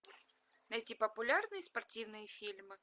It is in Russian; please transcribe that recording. найти популярные спортивные фильмы